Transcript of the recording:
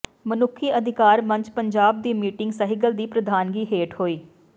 ਮਨੁੱਖੀ ਅਧਿਕਾਰ ਮੰਚ ਪੰਜਾਬ ਦੀ ਮੀਟਿੰਗ ਸਹਿਗਲ ਦੀ ਪ੍ਰਧਾਨਗੀ ਹੇਠ ਹੋਈ